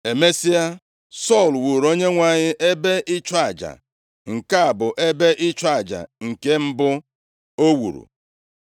Emesịa, Sọl wuuru Onyenwe anyị ebe ịchụ aja. Nke a bụ ebe ịchụ aja nke mbụ o wuru.